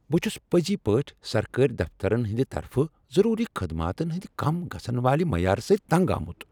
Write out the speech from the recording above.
بہٕ چھس پٔزۍ پٲٹھۍ سرکٲرۍ دفترن ہنٛد طرفہٕ ضروری خدماتن ہٕنٛد کم گژھن والہ معیارٕ سۭتۍ تنگ آمت۔